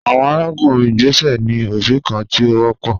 Awọn arakunrin igbesẹ ni obi kan ti o wọpọ